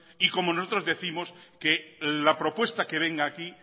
y como nosotros décimos que la propuesta que venga aquí